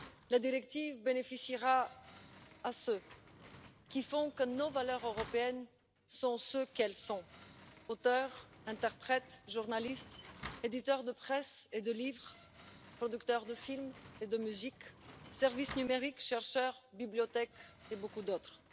La directive bénéficiera à ceux qui font que nos valeurs européennes sont ce qu'elles sont auteurs, interprètes, journalistes, éditeurs de presse et de livres, producteurs de films et de musique, services numériques, chercheurs, bibliothèques et beaucoup d'autres.